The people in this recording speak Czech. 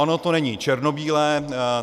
Ono to není černobílé.